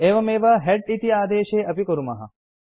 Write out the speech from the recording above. एवमेव हेड इति आदेशे अपि कुर्मः